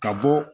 Ka bɔ